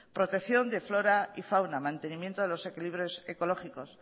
protección de flora y fauna mantenimiento de los equilibrios ecológicos